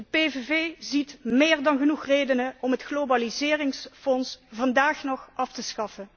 De PVV ziet meer dan genoeg redenen om het globaliseringsfonds vandaag nog af te schaffen.